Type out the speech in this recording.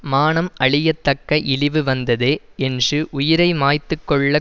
மானம் அழியத்தக்க இழிவு வந்ததே என்சு உயிரை மாய்த்துக் கொள்ள